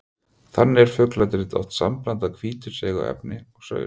Þannig er fugladrit oft sambland af hvítu seigu efni og saur.